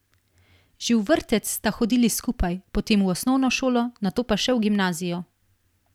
Že v vrtec sta hodili skupaj, potem v osnovno šolo, nato pa še v gimnazijo.